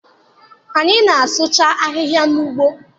Anyị na asụcha ahịhịa n'ugbo.